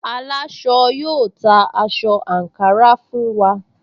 Aláṣọ yóò ta aṣọ àǹkárá fún wa